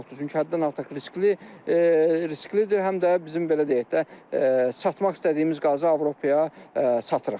Çünki həddən artıq riskli risklidir, həm də bizim belə deyək də, satmaq istədiyimiz qazı Avropaya satırıq.